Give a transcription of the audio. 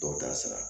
Dɔw ta sira